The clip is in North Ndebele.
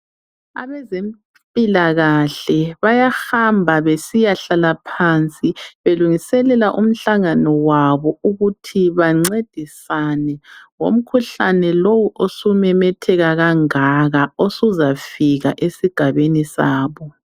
Abezempilakahle bayahamba besiya hlala phansi belungiselela umhlangano wabo ukuthi bancedisane . Umkhuhlane lowu osememetheka kangaka usuzafika esigabeni sabo.